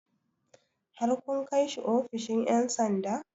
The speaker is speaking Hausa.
Har kun kai shi ofishin 'yan sanda?